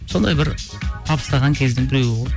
сондай бір табыстаған кездің біреуі ғой